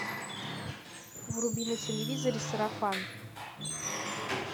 вруби на телевизоре сарафан